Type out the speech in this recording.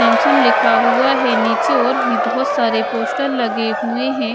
Samsung लिखा हुआ है नीचे और भी बहोत सारे पोस्टर लगे हुए हैं।